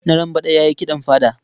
Narambaɗa ya yi kiɗan fada.